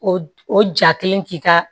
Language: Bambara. O o ja kelen k'i ka